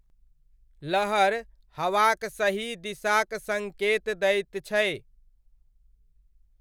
लहर हवाक सही दिशाक सङ्केत दैत छै।